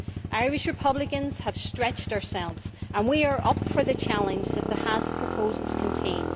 Irish republicans have stretched themselves, and we are up for the challenge that the Haass proposals contain.